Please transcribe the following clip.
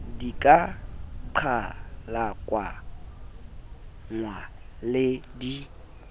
di ka qhalakanngwa le di